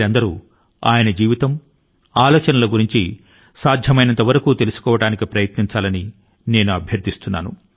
ఆయన జీవితాన్ని గురించి మరియు ఆయన యొక్క ఆలోచన ల ను గురించి వీలయినంత ఎక్కువ గా తెలుసుకోవడానికి ప్రయత్నించండి అని నేను మిమ్ములను అభ్యర్థిస్తున్నాను